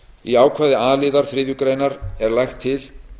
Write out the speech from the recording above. í ákvæði a liðar þriðju grein er lagt til